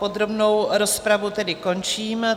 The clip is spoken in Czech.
Podrobnou rozpravu tedy končím.